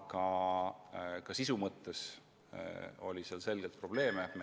Aga nende kobareelnõude puhul oli ka sisu mõttes selgeid probleeme.